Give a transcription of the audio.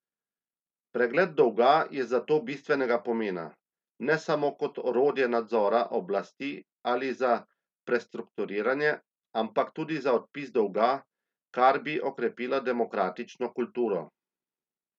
Pregled dolga je zato bistvenega pomena, ne samo kot orodje nadzora oblasti ali za prestrukturiranje, ampak tudi za odpis dolga, kar bi okrepilo demokratično kulturo.